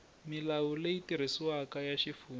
milawu leyi tirhisiwaka ya xifundza